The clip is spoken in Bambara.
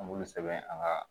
An b'olu sɛbɛn an ga